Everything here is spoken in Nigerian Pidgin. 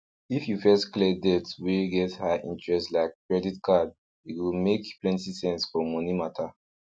if you first clear debt wey get high interest like credit card e go make plenty sense for moni mata